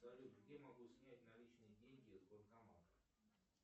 салют где я могу снять наличные деньги с банкомата